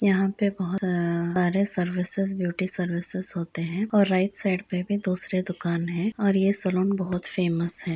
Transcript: यहाँ पे बहोत अं सारे सर्विसेज़ ब्यूटी सर्विसेज़ होते हैं और राइट साइड पे भी दोसरे दुकाने है और ये सालोन बहुत फेमस है।